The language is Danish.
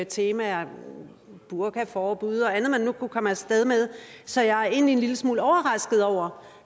temaer burkaforbud og andet man nu kunne komme af sted med så jeg er egentlig en lille smule overrasket over